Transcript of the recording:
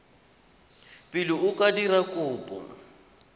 pele o ka dira kopo